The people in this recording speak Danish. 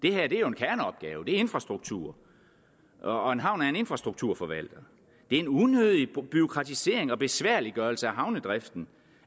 er jo en kerneopgave det er infrastruktur og en havn er en infrastrukturforvalter det en unødig bureaukratisering og besværliggørelse af havnedriften